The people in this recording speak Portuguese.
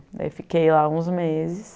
Daí fiquei lá uns meses.